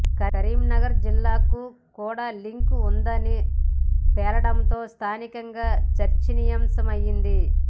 కరీంనగర్ జిల్లాకు కూడా లింక్ ఉందని తేలడంతో స్థానికంగా చర్చనీయాంశమైంది